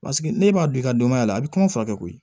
Paseke ne b'a don i ka denbaya la a bɛ kɔngɔ furakɛ koyi